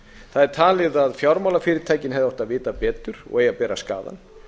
það er talið að fjármálafyrirtækin hefðu átt að vita betur og eigi að bera skaðann